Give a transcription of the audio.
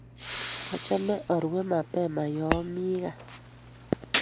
Achame arue mapema yoomi gaa